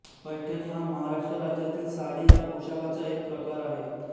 पैठणी हा महाराष्ट्र राज्यातील साडी या पोशाखाचा एक प्रकार आहे